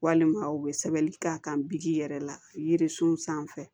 Walima u bɛ sɛbɛnni k'a kan yɛrɛ la yiri sun sanfɛ